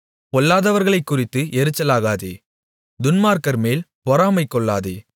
பொல்லாதவர்களைக்குறித்து எரிச்சலாகாதே துன்மார்க்கர்மேல் பொறாமை கொள்ளாதே